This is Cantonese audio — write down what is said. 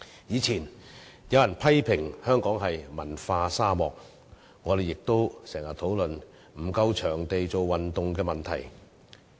以前有人批評香港是文化沙漠，我們亦經常討論沒有足夠場地做運動的問題。